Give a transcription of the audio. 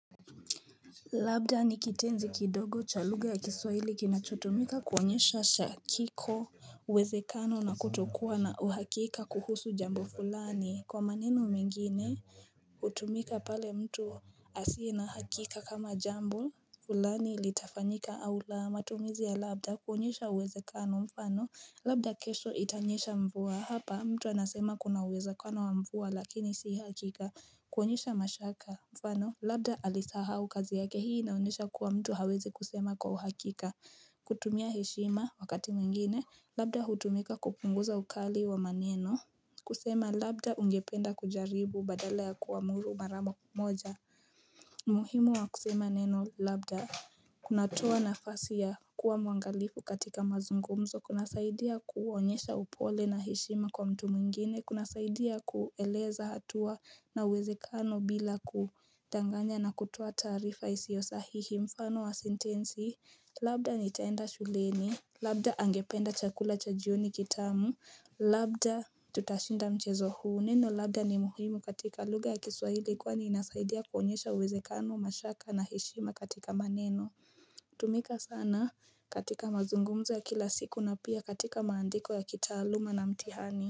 Labda nikitenzi kidogo cha lugha ya kiswahili ginachotumika kuonyesha shakiko uwezekano na kutokuwa na uhakika kuhusu jambo fulani kwa maneno mingine utumika pale mtu asie na hakika kama jambo fulani ilitafanyika au la matumizi ya labda kuonyesha uwezekano mfano labda kesho itanyesha mvua hapa mtu anasema kuna uweza kwano wa mvuwa lakini si hakika kuonyesha mashaka mfano Labda alisaha kazi yake hii na unesha kuwa mtu hawezi kusema kwa uhakika kutumia heshima wakati mwingine Labda hutumika kupunguza ukali wa maneno kusema Labda ungependa kujaribu badala ya kuamuru mara kumoja muhimu wa kusema neno Labda kunatoa nafasi ya kuwa mwangalifu katika mazungumzo kunasaidia kuonyesha upole na heshima kwa mtu mwingine Kuna saidia kueleza hatua na uwezekano bila kudanganya na kutua taarifa isiyosahihi Mfano wa sentensi Labda ni taenda shuleni Labda angependa chakula cha jioni kitamu Labda tutashinda mchezo huu Neno Labda ni muhimu katika lugha ya kiswahili Kwa ni inasaidia kuonyesha uwezekano mashaka na heshima katika maneno tumika sana katika mazungumza kila siku na pia katika maandiko ya kitaaluma na mtihani.